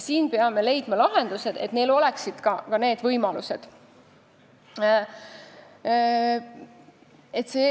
Siin peame leidma lahendused, et neil oleks see võimalus.